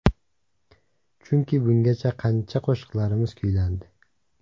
Chunki, bungacha qancha qo‘shiqlarimiz kuylandi.